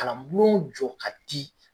Kalan bulonw jɔ ka di